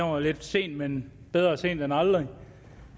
var lidt for sent men bedre sent end aldrig